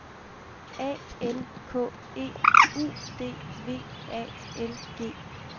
A N K E U D V A L G